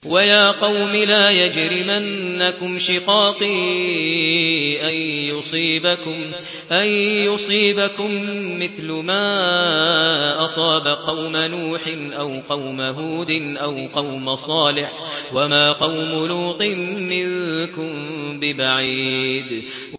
وَيَا قَوْمِ لَا يَجْرِمَنَّكُمْ شِقَاقِي أَن يُصِيبَكُم مِّثْلُ مَا أَصَابَ قَوْمَ نُوحٍ أَوْ قَوْمَ هُودٍ أَوْ قَوْمَ صَالِحٍ ۚ وَمَا قَوْمُ لُوطٍ مِّنكُم بِبَعِيدٍ